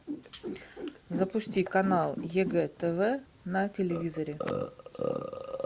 запусти канал егэ тв на телевизоре